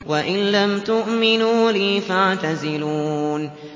وَإِن لَّمْ تُؤْمِنُوا لِي فَاعْتَزِلُونِ